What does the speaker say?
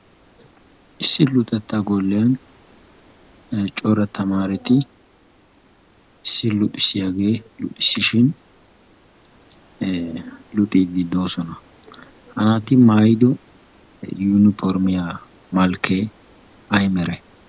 Issi luxetta golliyan cora tamaareti issi luxissiyagee luxissishin luxiiddi doosona. Naati maayido yuuniformiya malkkee ayi merayi?